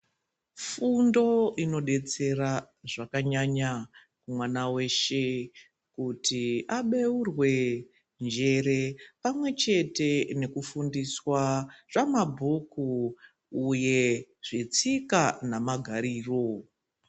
Fundo inodetsera zvakanyanya mwana weshe kuti abeurwe njere pamwechete nekudzidziswa zvamabhuku uye zvetsika nemagariro.